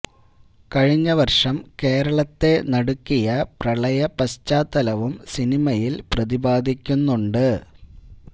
കഴിഞ്ഞ വർഷം കേരളത്തെ നടുക്കിയ പ്രളയ പശ്ചാത്തലവും സിനിമയിൽ പ്രതിപാദിക്കുന്നുണ്ട്